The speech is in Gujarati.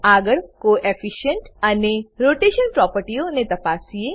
આગળ કોએફિશિયન્ટ કોઓફિસંટ અને રોટેશન રોટેશન પ્રોપર્ટીઓ ને તપાસીએ